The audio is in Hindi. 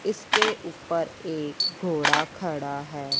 इसके ऊपर एक घोड़ा खड़ा हैं।